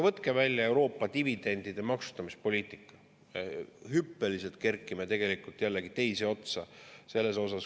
Võtke välja Euroopa dividendide maksustamise poliitika, hüppeliselt kerkime jällegi teise otsa.